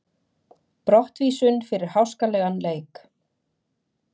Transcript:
Brottvísun fyrir háskalegan leik?